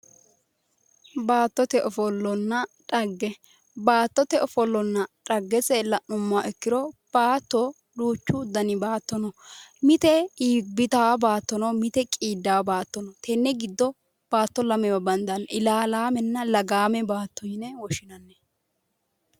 Baattote ofollanna dhagge, baattote ofollonna dhaggeese la'nuummoha ikkoro baatto duuchu danni baatto no, mite iibbittano baatto no, mite qiidano baatto no, tene giddo baatto lamewa bandanni, ilalamenna lagame baatto yinne woshshinanni.